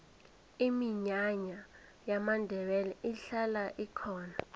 iminyanya yamandebele ihlala ikhona